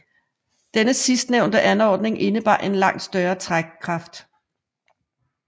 Denne sidst nævnte anordning indebar en langt større trækkraft